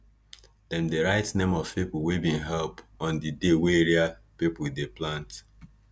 dem dey write name of people wey bin help on di dey wey area people dey plant